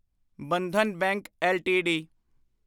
Bandhan bank LTD